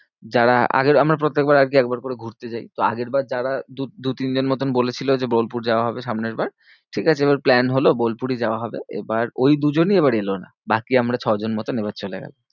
যারা আগের আমরা প্রত্যেকবার আরকি একবার করে ঘুরতে যাই। তো আগের বার যারা দু দু তিন জন মতন বলেছিল যে বোলপুর যাওয়া হবে সামনের বার। ঠিকাছে? এবার plan হলো বোলপুরই যাওয়া হবে। এবার ওই দুজনই এবার এলো না বাকি আমরা ছজন মতন এবার চলে গেলাম।